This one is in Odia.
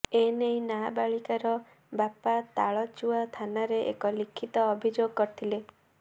ଏନେଇ ନାବାଳିକାର ବାପା ତାଳଚୁଆ ଥାନାରେ ଏକ ଲିଖିତ ଅଭିଯୋଗ କରିଥିଲେ